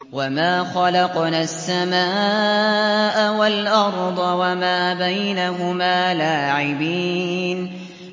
وَمَا خَلَقْنَا السَّمَاءَ وَالْأَرْضَ وَمَا بَيْنَهُمَا لَاعِبِينَ